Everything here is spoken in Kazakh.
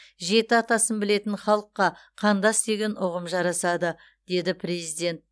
жеті атасын білетін халыққа қандас деген ұғым жарасады деді президент